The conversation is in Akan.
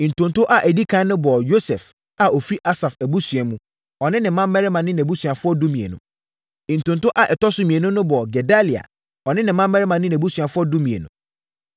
Ntonto a ɛdi ɛkan no bɔɔ Yosef a ɔfiri Asaf abusua mu, ɔne ne mmammarima ne nʼabusuafoɔ (12) Ntonto a ɛtɔ so mmienu no bɔɔ Gedalia, ɔne ne mmammarima ne nʼabusuafoɔ (12)